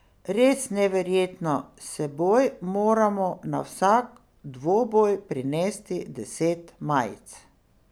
Res neverjetno, s seboj moram na vsak dvoboj prinesti deset majic.